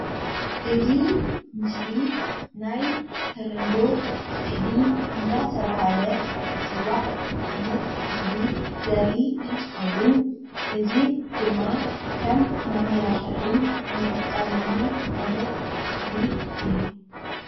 እዚ ምስሊ ናይ ተለምዶ ፅሕዲ እንዳተባሃለ ዝፅዋዕ ዓይነት ተክሊ ዘርኢ እንትከውን እዚ ድማ ከም መማላክዒ እንጥቀመሉ ዓይነት ተክሊ እዩ።